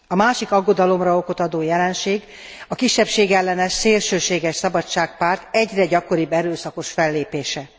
A másik aggodalomra okot adó jelenség a kisebbségellenes, szélsőséges Szabadság párt egyre gyakoribb erőszakos fellépése.